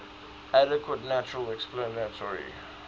adequate natural explanatory